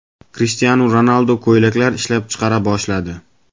Krishtianu Ronaldu ko‘ylaklar ishlab chiqara boshladi .